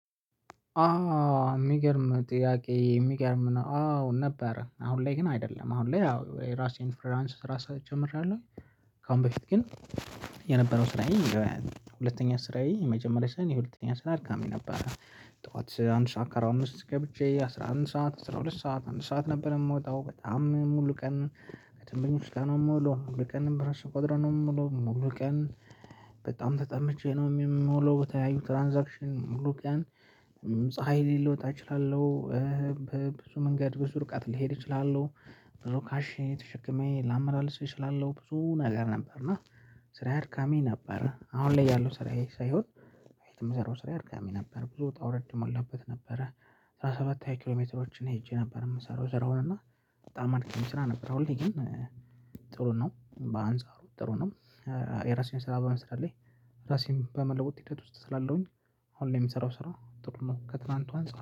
አዎ የሚገርም ጥያቄ የሚገርም ነው። አዎ ነበረ አሁን ላይ ግን አይደለም አሁን ላይ ያው የራሴን ፍሪላንስ ስራ ጀምሬያለሁ። ከአሁን በፊት ግን የነበረው ስራዬ። ሁለተኛ ስራዬ የመጀመሪያው ስራ የሁለተኛ ስራ አድካሚ ነበረ። ጠዋት አንድ ሰዓት ከኣርባ አምስት ገብቼ አስራ አንድ ሰዓት አስራ ሁለት ሰዓት አንድ ሰዓት ነበር የምወጣው በጣም ሙሉ ቀን። ከደንበኞች ጋር ነው የምውለው ሙሉ ቀን በራሱ ቋጥሬ ነው የምውለው ሙሉ ቀን። በጣም ተጠምቼ ነው የምለው በተለያዩ ትራንዛክሽን ሙሉ ቀን ፀሀይ ላይ ልወጣ እችላለው። ብዙ መንገድ ብዙ ርቀት ልሄድ እችላለው። ካሽ ተሸክሜ ላመላልስ እችላለሁ ብዙ ነገር ነበር እና ስራዬ አድካሚ ነበረ። አሁን ላይ ያለው ስራዬ ሳይሆን በፊት ምሰራው ስራዬ አድካሚ ነበር። ብዙ ውጣ ውረድ የሞላበት ነበረ። አስራ ሰባት ሃያ ኪሎ ሜትሮችን ሄጄ ነበር የምሰራው ስራውን እና በጣም አድካሚ ስራ ነበር። አሁን ላይ ግን ጥሩ ነው በአንጻሩ ጥሩ ነው። የራሴን ስራ በመስራት ላይ ራሴን በመለወጥ ሂደት ውስጥ ስላለሁኝ አሁን ላይ የሚሰራው ስራ ጥሩ ነው ከትላንቱ አንፃር